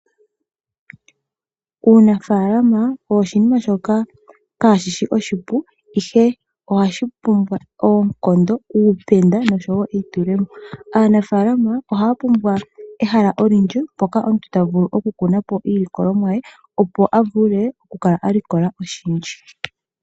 Uunafaalama owo oshinima shoka kaashi shi oshipu ashike ohashi pumbwa oonkondo, uupenda nosho woo eitulemo. Aanafaalama ohaya pumbwa ehala olindji mpoka omuntu ta vulu okukuna po iilikolomwa ye opo a vule okukala a likola oshindji.